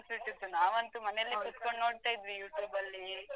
ನಾವಂತೂ ಮನೆಯಲ್ಲಿ ಕುತ್ಕೊಂಡು ನೋಡ್ತಾ ಇದ್ವಿ YouTube ಬಲ್ಲಿ.